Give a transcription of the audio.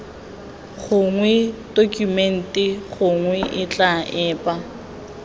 gongwe tokumente gongwe tetla epe